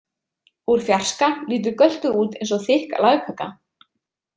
Úr fjarska lítur Göltur út eins og þykk lagkaka.